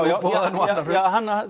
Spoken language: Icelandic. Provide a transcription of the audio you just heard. nú annað hrun